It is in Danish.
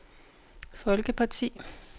folkeparti